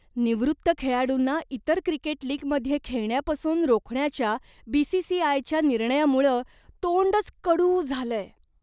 निवृत्त खेळाडूंना इतर क्रिकेट लीगमध्ये खेळण्यापासून रोखण्याच्या बी.सी.सी.आय.च्या निर्णयामुळं तोंडच कडू झालंय.